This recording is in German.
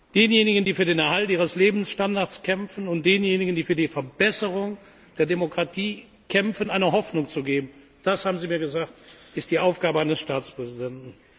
Denjenigen, die für den Erhalt ihres Lebensstandards kämpfen, und denjenigen, die für die Verbesserung der Demokratie kämpfen, eine Hoffnung zu geben, haben Sie mir gesagt, ist die Aufgabe eines Staatspräsidenten.